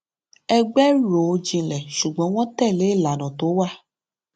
ẹgbẹ rò jinlẹ ṣùgbọn wọn tẹlé ìlànà tó wà